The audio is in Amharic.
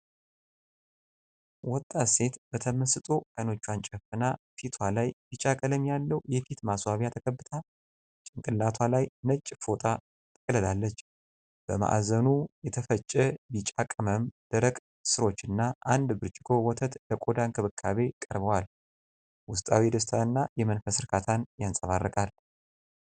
ወጣት ሴት በተመስጦ ዓይኖቿን ጨፍና፣ ፊትዋ ላይ ቢጫ ቀለም ያለው የፊት ማስዋቢያ ተቀብታ። ጭንቅላቷ ላይ ነጭ ፎጣ ጠቅልላለች። በማዕዘኑ የተፈጨ ቢጫ ቅመም፣ ደረቅ ሥሮችና አንድ ብርጭቆ ወተት ለቆዳ እንክብካቤ ቀርበዋል። ውስጣዊ ደስታንና የመንፈስ ርካታን ያንጸባርቃል።